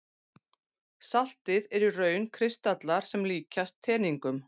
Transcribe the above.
Saltið er í raun kristallar sem líkjast teningum.